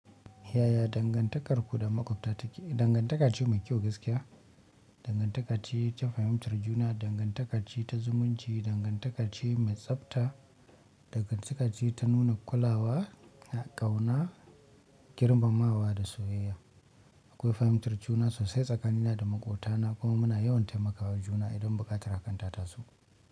Yaya dangantakarku da maƙwabta take? Dangantaka ce mai kyau gaskiya, dangantaka ce ta fahimtar juna, dangantaka ce ta zumunci, dangantaka ce mai tsabta, dangantaka ce ta nuna kula wa, ƙauna, girmamawa da soyayya. Akwai fahimtar juna sosai tsakanina da makwota na kuma muna yawan taimakawa juna sosai idan buƙatar hakan ta taso.